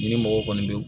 Ni mɔgɔ kɔni bɛ